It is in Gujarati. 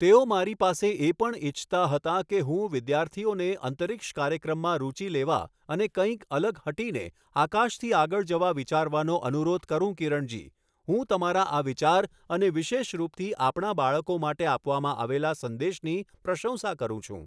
તેઓ મારી પાસે એ પણ ઈચ્છતા હતા કે હું વિદ્યાર્થીઓને અંતરિક્ષ કાર્યક્રમમાં રુચિ લેવા અને કંઈક અલગ હટીને, આકાશથી આગળ જવા વિચારવાનો અનુરોધ કરું કિરણજી, હું તમારા આ વિચાર અને વિશેષ રૂપથી આપણાં બાળકો માટે આપવામાં આવેલા સંદેશની પ્રશંસા કરું છું.